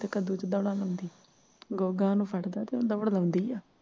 ਕੱਦੂ ਚ ਦੌੜਾ ਲਗਾਉਂਦੀ ਗੂੰਗਾ ਉਸ ਨੂੰ ਫੜਦਾ ਤੇ ਦੌੜ ਲਗਾਉਂਦੀ ਹੈ